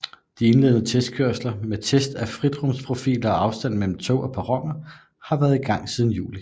De indledende testkørsler med test af fritrumsprofiler og afstand mellem tog og perroner havde været i gang siden juli